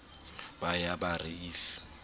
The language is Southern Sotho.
ba ya ba re if